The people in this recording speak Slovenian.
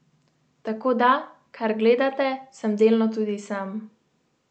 Tako da, kar gledate, sem delno tudi sam.